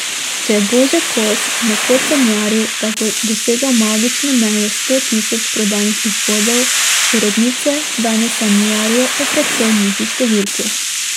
Če je Božo Kos nekoč sanjaril, da bo dosegel magično mejo sto tisoč prodanih izvodov, urednice danes sanjarijo o precej nižji številki.